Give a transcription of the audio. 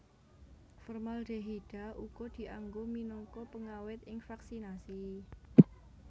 Formaldehida uga dianggo minangka pengawèt ing vaksinasi